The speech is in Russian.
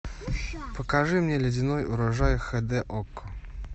покажи мне ледяной урожай хэ дэ окко